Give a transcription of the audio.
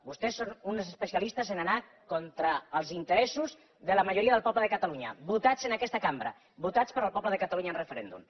vostès són uns especialistes en el fet d’anar contra els interessos de la majoria del poble de catalunya votats en aquesta cambra votats pel poble de catalunya en referèndum